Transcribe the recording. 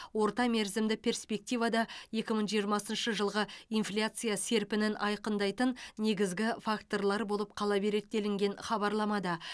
орта мерзімді перспективада екі мың жиырмасыншы жылғы инфляция серпінін айқындайтын негізгі факторлар болып қала береді делінген хабарламада